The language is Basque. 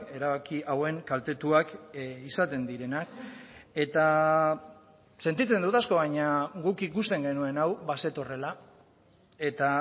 erabaki hauen kaltetuak izaten direnak eta sentitzen dut asko baina guk ikusten genuen hau bazetorrela eta